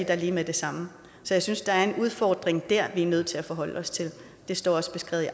der lige med det samme så jeg synes der er en udfordring der vi er nødt til at forholde os til det står også beskrevet